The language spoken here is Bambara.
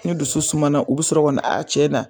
Ni dusu sumana u bi sɔrɔ ka na aa cɛ na